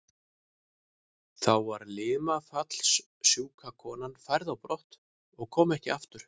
Þá var limafallssjúka konan færð á brott og kom ekki aftur.